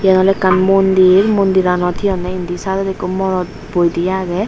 iyan ole ekkan mondir mondiranot he honne indi side odi ekku morot boi di agey.